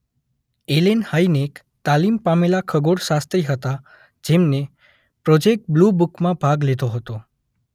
એલેન Hynek તાલીમ પામેલા ખગોળશાસ્ત્રી હતા જેમને પ્રોજેક્ટ બ્લૂબુક માં ભાગ લીધો હતો.